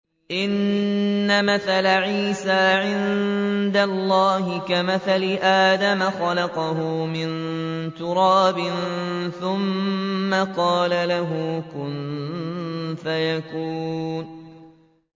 إِنَّ مَثَلَ عِيسَىٰ عِندَ اللَّهِ كَمَثَلِ آدَمَ ۖ خَلَقَهُ مِن تُرَابٍ ثُمَّ قَالَ لَهُ كُن فَيَكُونُ